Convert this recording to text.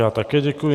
Já také děkuji.